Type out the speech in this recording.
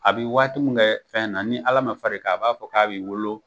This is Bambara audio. A bi waati min kɛ fɛn na ni ala ma far'i kan a b'a fɔ k'a b'i wolo